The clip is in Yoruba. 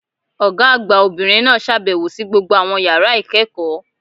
Ọ̀gá àgbà Obìnrin náà sàbèwò sí gbogbo àwọn yàrá ìkéèkó